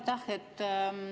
Aitäh!